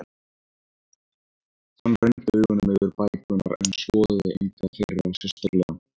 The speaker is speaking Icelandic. Hann renndi augunum yfir bækurnar en skoðaði enga þeirra sérstaklega.